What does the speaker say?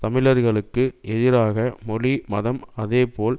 தமிழர்களுக்கு எதிராக மொழி மதம் அதே போல்